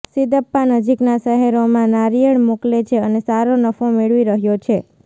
સિદપ્પા નજીકના શહેરોમાં નાળિયેર મોકલે છે અને સારો નફો મેળવી રહ્યો છે